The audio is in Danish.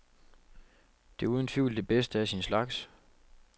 Det er uden tvivl det bedste af sin slags.